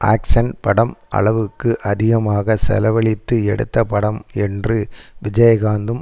action படம் அளவுக்கு அதிகமாக செலவழித்து எடுத்தப் படம் என்று விஜயகாந்தும்